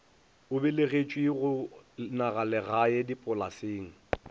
o belegetšwe go nagalegae dipolaseng